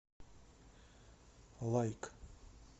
лайк